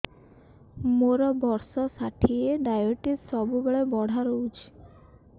ମୋର ବର୍ଷ ଷାଠିଏ ଡାଏବେଟିସ ସବୁବେଳ ବଢ଼ା ରହୁଛି